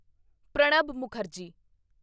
Pranab Mukherjee